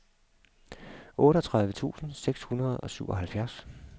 otteogtredive tusind seks hundrede og syvoghalvfjerds